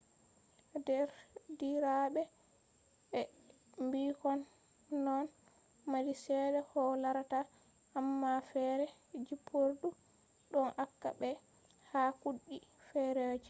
derdiraɓe be ɓikkon ɗon mari seɗɗa koh larata amma feere jippordu ɗon acca ɓe ha cuuɗi feerejo